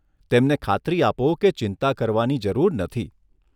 તેમને ખાતરી આપો કે ચિંતા કરવાની જરૂર નથી.